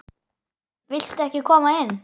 Viltu ekki koma inn?